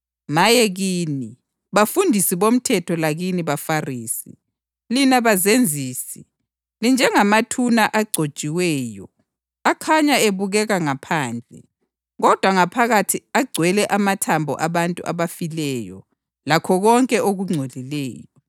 Maye kini, bafundisi bomthetho lakini baFarisi, lina bazenzisi! Linjengamathuna aconjiweyo, akhanya ebukeka ngaphandle, kodwa ngaphakathi agcwele amathambo abantu abafileyo lakho konke okungcolileyo.